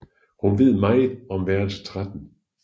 Hun ved meget om værelse 13